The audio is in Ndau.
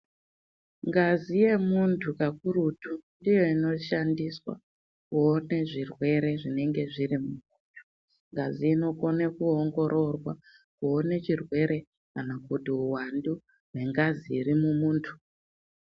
Ngazi yemuntu kakurutu ndiyo ino shandiswa kuone zvirwere zvinenge zviri mumuntu ngazi inokone kuongororwa kuone chirwere kana kuti uwandu hwe ngazi iri mumuntu.